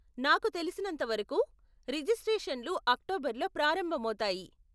నాకు తెలిసినంతవరకు రెజిస్ట్రేషన్లు అక్టోబర్ లో ప్రారంభమవుతాయి .